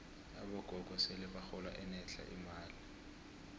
abogogo sele bahola enetlha imali